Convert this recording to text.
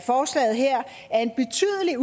en